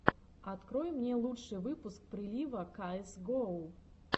открой мне лучший выпуск прилива каэс гоу